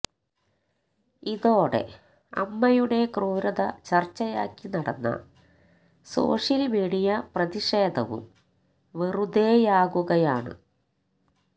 ഇതോടെ അമ്മയുടെ ക്രൂരത ചർച്ചയാക്കി നടന്ന സോഷ്യൽ മീഡിയ പ്രതിഷേധവും വെറുതെയാകുകയാണ്